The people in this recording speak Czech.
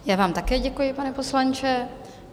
Já vám také děkuji, pane poslanče.